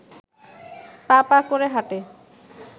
পা পা করে হাঁটে